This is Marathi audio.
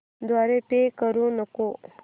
द्वारे पे करू नको